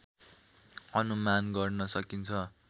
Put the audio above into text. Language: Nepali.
अनुमान गर्न सकिन्छ